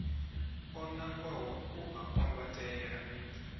o nangwaho u a kwambatela